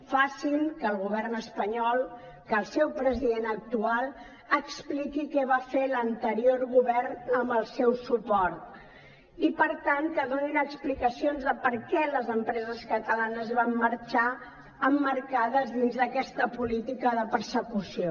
facin que el govern espanyol que el seu president actual expliqui què va fer l’anterior govern amb el seu suport i per tant que donin explicacions de per què les empreses catalanes van marxar emmarcades dins d’aquesta política de persecució